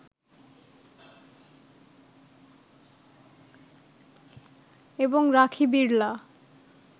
এবং রাখি বিড়লা